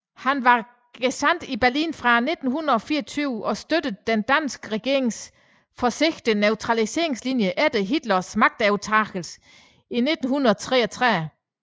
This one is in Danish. Han var gesandt i Berlin fra 1924 og støttede den danske regerings forsigtige neutralitetslinje efter Hitlers magtovertagelse i 1933